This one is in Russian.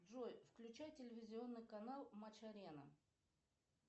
джой включай телевизионный канал матч арена